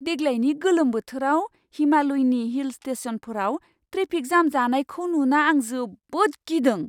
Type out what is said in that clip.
देग्लायनि गोलोम बोथोराव हिमालयनि हिल स्टेशनफोराव ट्रेफिक जाम जानायखौ नुना आं जोबोद गिदों!